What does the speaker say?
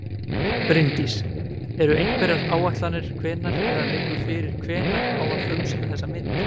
Bryndís: Eru einhverjar áætlanir hvenær eða liggur fyrir hvenær á að frumsýna þessa mynd?